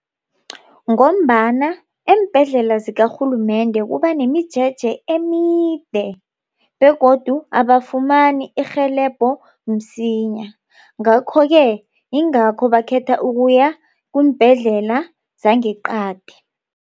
Ngombana eembhedlela zikarhulumende kubanemijeje emide begodu abafumani irhelebho msinya. Ngakho-ke yingakho bakhetha ukuya kumbhedlela zangeqadi.